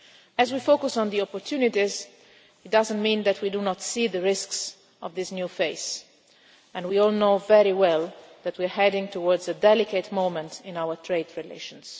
As we focus on the opportunities it does not mean that we do not see the risks of this new phase and we all know very well that we are heading towards a delicate moment in our trade relations.